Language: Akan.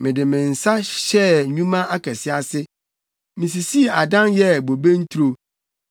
Mede me nsa hyɛɛ nnwuma akɛse ase; misisii adan yɛɛ bobe nturo.